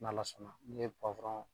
N' ala sɔnna n ye pɔwurɔn